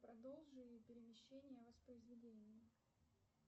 продолжи перемещения воспроизведения